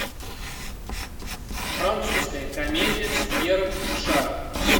французская комедия с пьером ришаром